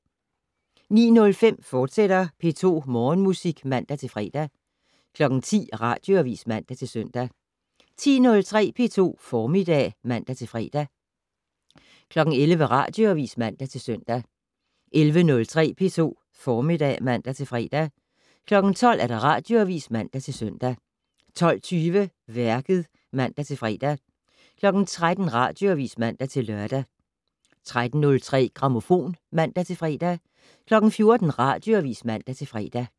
09:05: P2 Morgenmusik, fortsat (man-fre) 10:00: Radioavis (man-søn) 10:03: P2 Formiddag (man-fre) 11:00: Radioavis (man-søn) 11:03: P2 Formiddag (man-fre) 12:00: Radioavis (man-søn) 12:20: Værket (man-fre) 13:00: Radioavis (man-lør) 13:03: Grammofon (man-fre) 14:00: Radioavis (man-fre)